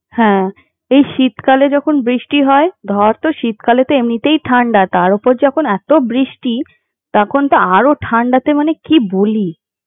হ্যাঁ, এই শীতকালে যখন বৃষ্টি হয় ধর তো শীতকালে এমনিতেই ঠান্ডা তার ওপর যখন এতো বৃষ্টি, তখন তো আরো ঠান্ডাতে মানে কি বলি।